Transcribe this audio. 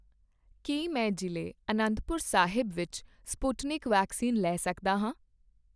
ਕੀ ਮੈਂ ਜ਼ਿਲ੍ਹੇ ਅਨੰਤਪੁਰ ਵਿੱਚ ਸਪੁਟਨਿਕ ਵੈਕਸੀਨ ਲੈ ਸਕਦਾ ਹਾਂ?